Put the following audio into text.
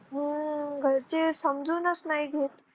हम्म घरचे समजूनच नाही घेत.